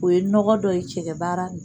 O ye nɔgɔ dɔ ye cɛgɛ baara la